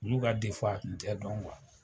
Olu ka a tun tɛ dɔn